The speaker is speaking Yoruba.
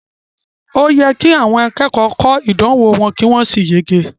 O yẹ ki àwọn akẹ́kọ̀ọ́ kọ ìdánwò wọn ki wọn sì yege.